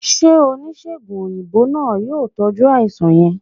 se onisegùn oyinbo naa, yoo tọju alaisan yẹn?